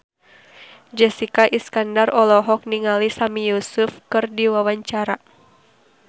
Jessica Iskandar olohok ningali Sami Yusuf keur diwawancara